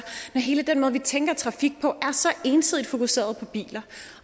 hele den måde vi tænker trafik på er så ensidigt fokuseret på biler